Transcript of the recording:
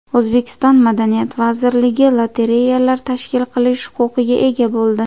O‘zbekiston Madaniyat vazirligi lotereyalar tashkil qilish huquqiga ega bo‘ldi.